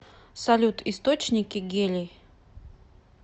салют источники гелий